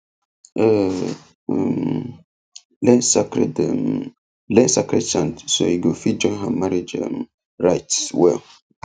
e um learn sacred um learn sacred chants so e go fit join her marriage um rites well